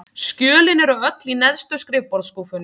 Skjölin eru öll í neðstu skrifborðsskúffunni.